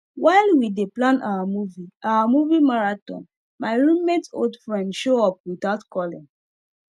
while we dey plan our movie our movie marathon my roommate old friend show up without calling